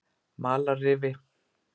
Malarrifi